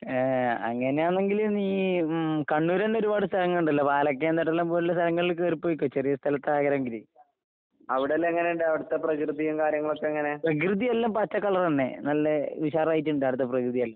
ഏഹ് അങ്ങനെയാന്നെങ്കില് നീ ഉം കണ്ണൂരെന്നെ ഒരുപാട് സ്ഥലങ്ങളിണ്ടല്ലോ പാലക്കയംതട്ടയെല്ലാം പോലുള്ള സ്ഥലങ്ങളില് കേറിപ്പൊയ്ക്കോ ചെറിയ സ്ഥലത്താ ആഗ്രഹെങ്കില്. പ്രകൃതിയെല്ലാം പച്ചക്കളറെന്നെ. നല്ല ഉഷാറായിട്ടുണ്ട് അവിടത്തെ പ്രകൃതിയെല്ലാം.